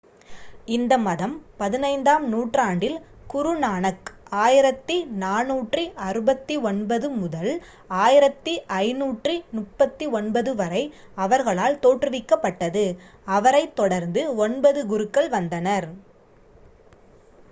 இந்த மதம் 15ஆம் நூற்றாண்டில் குரு நானக் 1469–1539 அவர்களால் தோற்றுவிக்கப்பட்டது. அவரைத் தொடர்ந்து ஒன்பது குருக்கள் வந்தனர்